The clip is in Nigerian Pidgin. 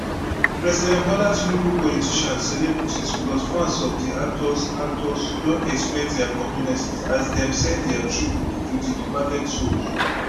president bola tinubu politicians celebrities plus fans of di actors actors don express dia condolence as dem send dia tribute to di departed souls